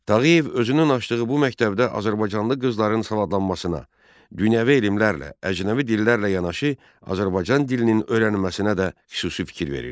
Tağıyev özünün açdığı bu məktəbdə azərbaycanlı qızların savadlanmasına, dünyəvi elmlərlə, əcnəbi dillərlə yanaşı Azərbaycan dilinin öyrənilməsinə də xüsusi fikir verirdi.